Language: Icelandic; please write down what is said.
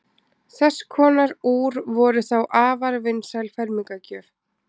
þess konar úr voru þá afar vinsæl fermingargjöf